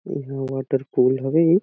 यहाँ water pool हवे।